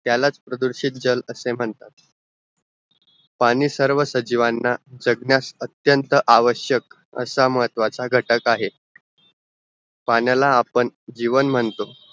त्यालाच प्रदूषित जल असे म्हणतात पाणी सर्व सजीवांह जगण्यास अत्यंत आवशक्य असा महत्वाच्च घटक आहे पाण्याला आपण जीवन म्हणतो